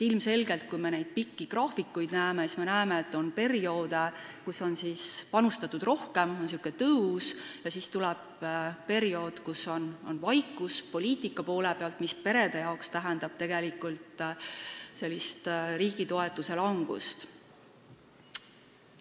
Ilmselgelt, nendelt pikkadelt graafikutelt me näeme, et on perioode, kui on panustatud rohkem, on tõus, ja siis tuleb periood, kui on poliitika poole peal vaikus, mis peredele tähendab tegelikult riigi toetuse langust.